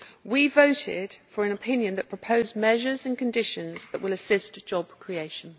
We voted for an opinion that proposed measures and conditions that will assist job creation.